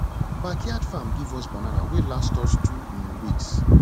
backyard farm give us banana wey last us two um weeks